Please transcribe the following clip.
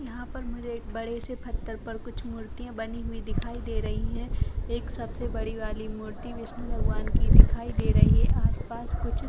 यहाँ पर मुझे एक बड़े से पत्थर पर कुछ मुर्तियां बनी हुई दिखाई दे रही है यह एक सबसे बड़ी वाली मूर्ति विष्णु भगवान की दिखाई दे रही है आस - पास कुछ --